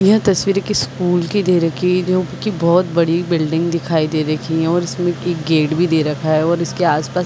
यह तस्वीर एक स्कूल की दे रखी जो की बोहोत बड़ी बिल्डिंग दिखाई दे रखी। और इसके एक गेट भी दे रखा है। और इसके आस-पास--